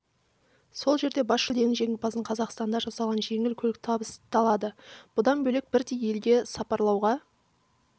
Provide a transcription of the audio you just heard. сол жерде бас жүлденің жеңімпазына қазақстанда жасалған жеңіл көлік табысталады бұдан бөлек бірдей елге сапарлауға